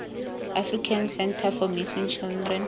african centre for missing children